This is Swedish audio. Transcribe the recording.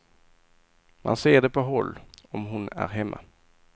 Man ser det på håll, om hon är hemma.